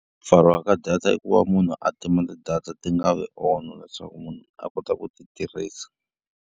Ku pfariwa ka data i ku va munhu a tima ti-data ti nga vi on leswaku munhu a kota ku ti tirhisa.